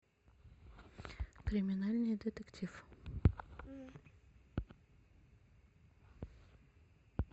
криминальный детектив